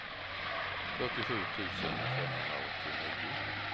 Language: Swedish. fyrtiosju tusen femhundraåttionio